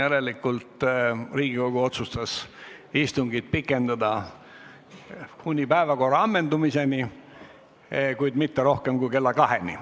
Järelikult otsustas Riigikogu istungit pikendada kuni päevakorra ammendumiseni, kuid mitte rohkem kui kella kaheni.